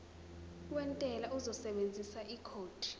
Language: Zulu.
wentela uzosebenzisa ikhodi